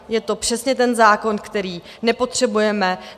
Je to přesně ten zákon, který nepotřebujeme.